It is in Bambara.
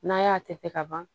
N'a y'a tɛgɛ ka ban